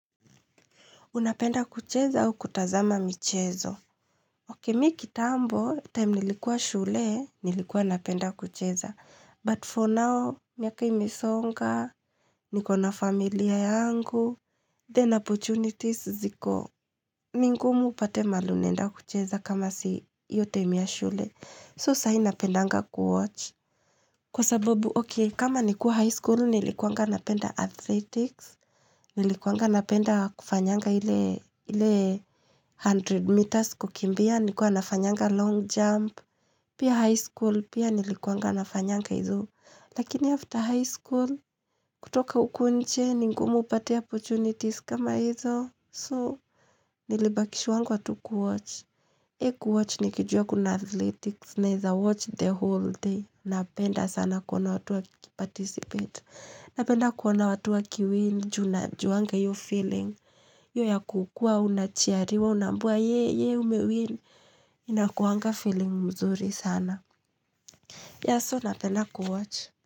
Unapenda kucheza au kutazama michezo? Oke, mi kitambo, time nilikuwa shule, nilikuwa napenda kucheza. But for now, miaka imesonga, niko na familia yangu, then opportunities ziko. Ngumu upate mahali unaenda kucheza kama si hiyo time ya shule. So, sahii napendanga kuwatch. Kwa sababu, okey, kama nikuwa high school, nilikuanga napenda athletics. Nilikuanga napenda kufanyanga ile 100 meters kukimbia, nilikuwa nafanyanga long jump Pia high school, pia nilikuanga nafanyanga hizo Lakini after high school, kutoka uku nje, ni ngumu upate opportunities kama hizo So, nilibakishwangwa tu kuwatch Hee kuwatch ni kijua kuna athletics, naeza watch the whole day Napenda sana kuona watu wa kiparticipate na penda kuona watu wakiwin, ju najuanga hio feeling, hiyo ya kukuwa, unachiariwa, unaambiwa, ye, ye, umewin, inakuwanga feeling mzuri sana. Ya so na penda kuwatch.